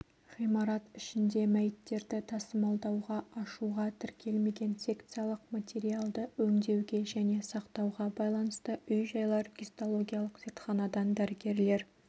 ғимарат ішінде мәйіттерді тасымалдауға ашуға тіркелмеген секциялық материалды өңдеуге және сақтауға байланысты үй-жайлар гистологиялық зертханадан дәрігерлер